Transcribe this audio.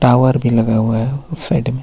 Tower भी लगा हुआ है साइड में.